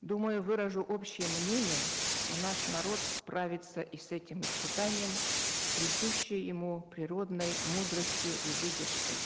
думаю выражу общее мнение что наш народ справится и с этим испытанием с присущей ему природной мудростью и выдержкой